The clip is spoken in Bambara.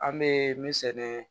An bɛ min sɛnɛ